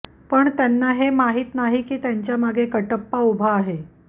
पण त्यांना हे माहीत नाही की त्यांच्यामागे कटप्पा उभा आहे